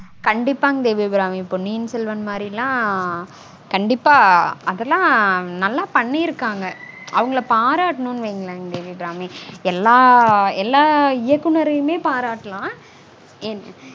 கண்டிப்பாங் தேவி அபிராமி. பொன்னியின் செல்வன் மாதிரியெல்லாம் கண்டிப்பா அதெல்லாம் நல்லா பண்ணிருக்காங்க. அவங்கள பாராட்டனுனு வைங்களேன் தேவி அபிராமி. எல்லா இயக்குனரையுமே பாராட்டலாம்.